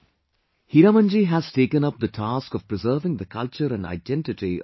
Hiramanji has taken up the task of preserving the culture and identity of his community